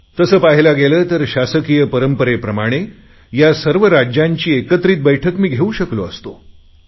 तसे पाहल्या गेले तर शासकीय परंपरेप्रमाणे या सर्व राज्यांना एकत्रित मी घेऊ शकलो असतो